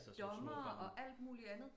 Af dommere og alt mulig andet